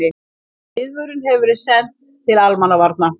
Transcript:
Viðvörunin hefur verið sent til almannavarna